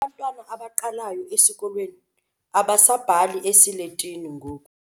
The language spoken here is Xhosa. Abantwana abaqalayo esikolweni abasabhali esiletini ngoku.